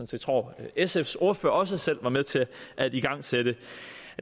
set tror at sfs ordfører også selv var med til at igangsætte